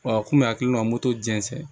Wa a kun bɛ a kɛlen don ka moto jɛnsɛ